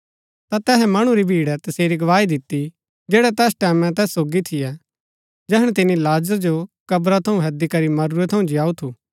ता तैहै मणु री भिड़ै तसेरी गवाही दिती जैड़ै तैस टैमैं तैस सोगी थियै जैहणै तिनी लाजर जो क्रब थऊँ हैदी करी मरूरै थऊँ जीयाऊ थू